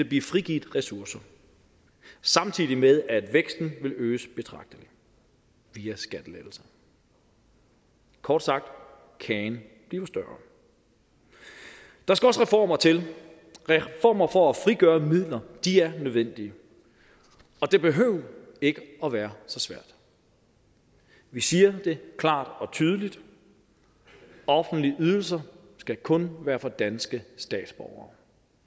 blive frigivet ressourcer samtidig med at væksten vil øges betragteligt via skattelettelser kort sagt kagen bliver større der skal også reformer til reformer for at frigøre midler er nødvendige det behøves ikke at være så svært vi siger det klart og tydeligt offentlige ydelser skal kun være for danske statsborgere